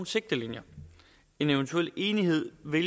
sigtelinjer en eventuel enighed vil